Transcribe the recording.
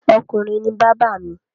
Ọkùnrin ni bábà mi.